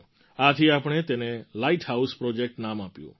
આથી આપણે તેને લાઇટ હાઉસ પ્રૉજેક્ટ નામ આપ્યું